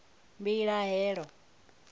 mbilahelo